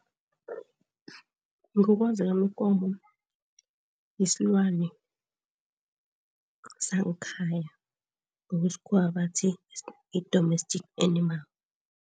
Ngokwazi kwami ikomo yisilwane sangekhaya, ngesikhuwa bathi yi-domestic animal.